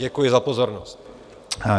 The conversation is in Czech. Děkuji za pozornost.